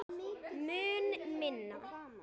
Mun minna.